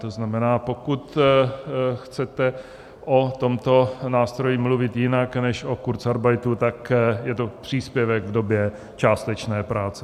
To znamená, pokud chcete o tomto nástroji mluvit jinak než o kurzarbeitu, tak je to příspěvek v době částečné práce.